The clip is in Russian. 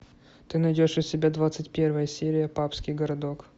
ты найдешь у себя двадцать первая серия папский городок